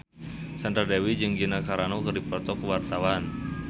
Sandra Dewi jeung Gina Carano keur dipoto ku wartawan